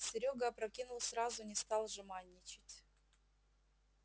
серёга опрокинул сразу не стал жеманничать